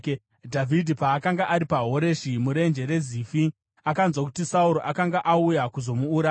Dhavhidhi paakanga ari paHoreshi muRenje reZifi, akanzwa kuti Sauro akanga auya kuzomuuraya.